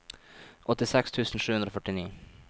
åttiseks tusen sju hundre og førtini